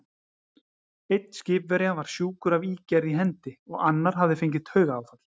Einn skipverja var sjúkur af ígerð í hendi, og annar hafði fengið taugaáfall.